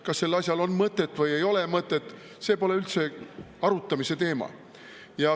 Kas sellel asjal on mõtet või ei ole mõtet, see pole üldse arutamise teema.